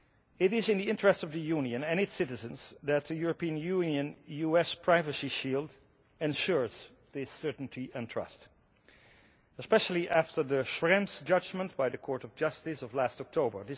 It is in the interest of the Union and its citizens that the European Union US privacy shield ensures this certainty and trust, especially after the Schrems judgment by the Court of Justice of last October.